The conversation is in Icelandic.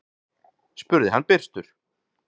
spurði hann byrstur.